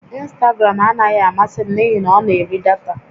Ịnstagram anaghị amasị m n'ihi na ọ na-eri data